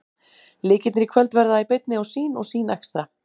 Leikirnir í kvöld verða í beinni á Sýn og Sýn Extra.